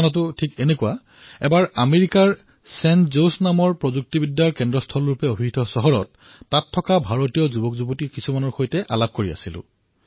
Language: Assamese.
ঘটনাটো এনে আছিল এবাৰ আমেৰিকাৰ প্ৰযুক্তিৰ চহৰ হিচাপে খ্যাত ছেন জোছ নগৰত ভাৰতীয় যুৱ প্ৰজন্মৰ সৈতে কিছু আলোচনা কৰিছিলো